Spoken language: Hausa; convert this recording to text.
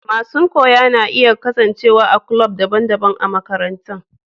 Masun koya na iya kasance a'kulob dabban dabban a'makarantan.